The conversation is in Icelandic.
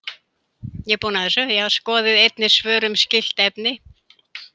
Skoðið einnig svör um skylt efni: